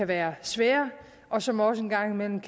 være svære og som også en gang imellem